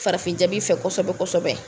Farafin jabi fɛ kosɛbɛ kosɛbɛ